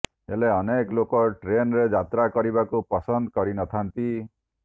ହେଲେ ଅନେକ ଲୋକ ଟ୍ରେନରେ ଯାତ୍ରା କରିବାକୁ ପସନ୍ଦ କରିନଥାଆନ୍ତି